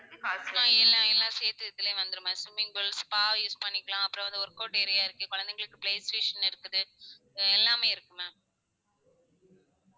எல்லாம் எல்லாம் சேர்த்தே இதுல வந்துடும் ma'am swimming pool, spa use பண்ணிக்கலாம் அப்புறம் வந்து workout area இருக்கு குழந்தைகளுக்கு play station இருக்கு அஹ் எல்லாமே இருக்கு ma'am